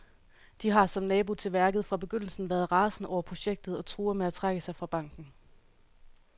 De har, som nabo til værket, fra begyndelsen været rasende over projektet og truer med at trække sig fra banken.